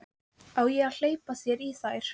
Á ég að hleypa þér í þær?